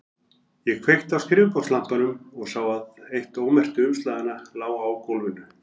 Ég kveikti á skrifborðslampanum og sá að eitt ómerktu umslaganna lá á gólfinu.